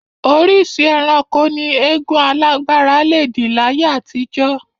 Oríṣìí ẹranko ni eégún alágbára le dì láyé àtijọ́